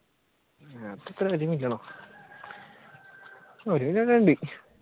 അതെത്രയാ ഒരു മില്യണോ ഒരു million ഉണ്ട്.